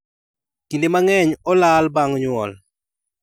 Kinde mang'eny, olal bang' nyuol.